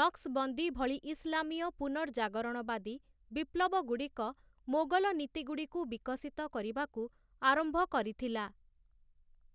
'ନକ୍ସ୍‌ବନ୍ଦୀ' ଭଳି ଇସଲାମୀୟ ପୁନର୍ଜାଗରଣବାଦୀ ବିପ୍ଲବଗୁଡ଼ିକ ମୋଗଲ ନୀତିଗୁଡ଼ିକୁ ବିକଶିତ କରିବାକୁ ଆରମ୍ଭ କରିଥିଲା ।